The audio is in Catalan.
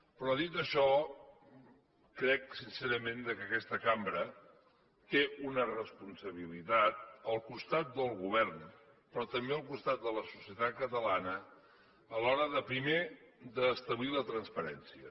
però dit això crec sincerament que aquesta cambra té una responsabilitat al costat del govern però també al costat de la societat catalana a l’hora de primer establir la transparència